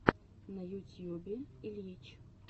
на ютьюбе ильич